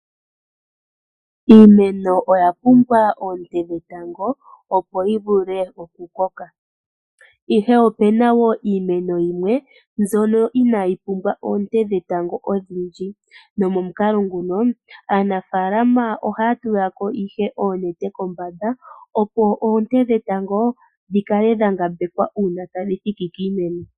Iimeno oya pumbwa oonte dhetango, opo yi vule okukoka. Ihe opu na woo iimeno yimwe mbyono inayi pumbwa oonte dhetango odhindji. Nomomukalo nguno, aanafaalama ohaya tula ko ihe oonete kombanda opo oonte dhetango dhi kale dha ngambekwa uuna tadhi thiki kiimeno.